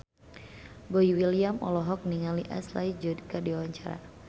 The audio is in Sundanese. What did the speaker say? Boy William olohok ningali Ashley Judd keur diwawancara